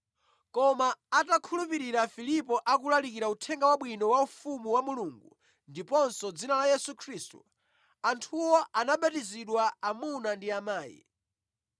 Koma atakhulupirira Filipo akulalikira Uthenga Wabwino wa ufumu wa Mulungu ndiponso dzina la Yesu Khristu, anthuwo anabatizidwa amuna ndi amayi.